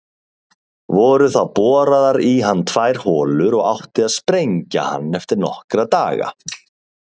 Voru þá boraðar í hann tvær holur og átti að sprengja hann eftir nokkra daga.